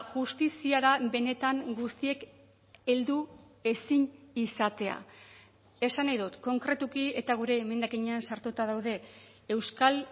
justiziara benetan guztiek heldu ezin izatea esan nahi dut konkretuki eta gure emendakinean sartuta daude euskal